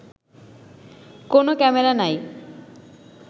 কোনো ক্যামেরা নাই